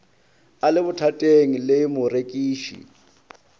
a le bothateng le morekiši